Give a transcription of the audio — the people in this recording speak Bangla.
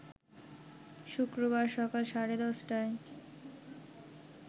শুক্রবার সকাল সাড়ে ১০টায়